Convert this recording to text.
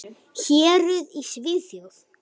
Héruð í Svíþjóð